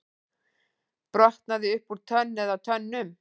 Brotnaði upp úr tönn eða tönnum